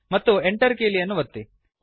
ಮತ್ತು Enter ಕೀಲಿಯನ್ನು ಒತ್ತಿರಿ